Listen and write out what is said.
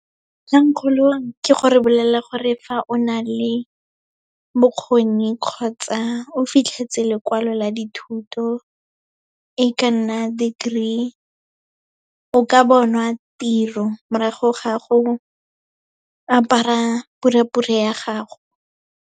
Kgangkgolo ke gore o bolelela gore fa o na le bokgoni kgotsa o fitlhetse lekwalo la dithuto, e ka nna degree, o ka bona tiro morago ga go apara purepure ya gago.